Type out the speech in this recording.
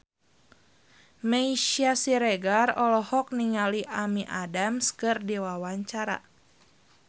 Meisya Siregar olohok ningali Amy Adams keur diwawancara